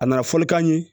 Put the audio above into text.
A nana fɔlikan ye